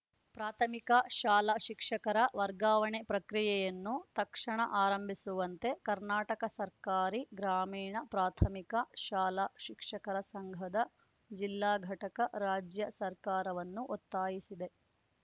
ಪ್ರಾಥಮಿಕ ಶಾಲಾ ಶಿಕ್ಷಕರ ವರ್ಗಾವಣೆ ಪ್ರಕ್ರಿಯೆಯನ್ನು ತಕ್ಷಣ ಆರಂಭಿಸುವಂತೆ ಕರ್ನಾಟಕ ಸರ್ಕಾರಿ ಗ್ರಾಮೀಣ ಪ್ರಾಥಮಿಕ ಶಾಲಾ ಶಿಕ್ಷಕರ ಸಂಘದ ಜಿಲ್ಲಾ ಘಟಕ ರಾಜ್ಯ ಸರ್ಕಾರವನ್ನು ಒತ್ತಾಯಿಸಿದೆ